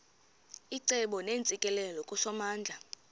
icebo neentsikelelo kusomandla